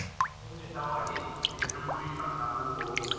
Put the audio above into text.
Eigum við þá að hittast í fyrramálið á gamla, góða staðnum?